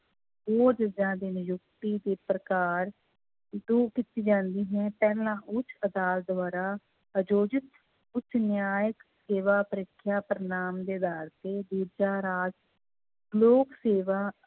ਜੱਜਾਂ ਦੀ ਨਿਯੁਕਤੀ ਤੇ ਪ੍ਰਕਾਰ ਉਦੋਂ ਕੀਤੀ ਜਾਂਦੀ ਹੈ ਪਹਿਲਾਂ ਉੱਚ ਅਦਾਲਤ ਦੁਆਰਾ ਅਯੋਜਿਤ ਉੱਚ ਨਿਆਂਇਕ ਸੇਵਾ ਪ੍ਰੀਖਿਆ ਪਰਿਣਾਮ ਦੇ ਆਧਾਰ ਤੇ, ਦੂਜਾ ਰਾਜ ਲੋਕ ਸੇਵਾ